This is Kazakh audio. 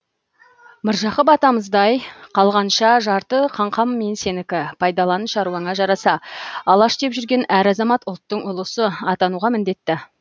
міржақып атамыздай қалғанша жарты қаңқам мен сенікі пайдалан шаруаңа жараса алаш деп жүрген әр азамат ұлттың ұлысы атануға міндетті